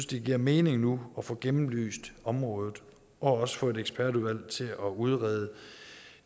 det giver mening nu at få gennemlyst området og også få et ekspertudvalg til at udrede